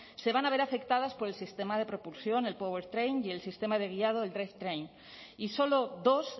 se van a ver afectadas por el sistema de propulsión el powertrain y el sistema de guiado el drivetrain y solo dos